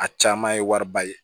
A caman ye wariba ye